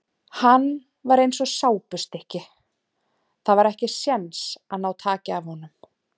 Hann var eins og sápustykki, það var ekki séns að ná taki af honum.